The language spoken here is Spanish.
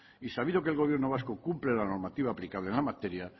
y sabido que el gobierno vasco cumple la normativa aplicable en la materia